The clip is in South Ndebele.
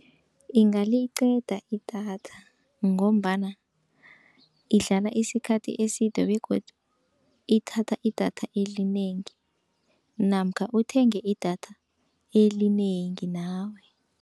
Ingaliqeda idatha, ngombana idlala isikhathi eside begodu ithatha idatha elinengi. Namkha uthenge idatha elinengi nawe.